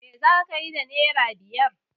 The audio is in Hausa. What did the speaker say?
Me za ki yi da naira biyar?